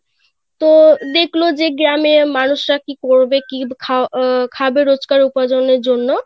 তো দেখলো যে গ্রামের মানুষ রা কি করবে কি খা~ আহ খাবে রোজকার উপার্জনের জন্য;